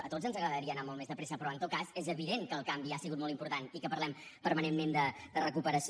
a tots ens agradaria anar molt més de pressa però en tot cas és evident que el canvi ha sigut molt important i que parlem permanentment de recuperació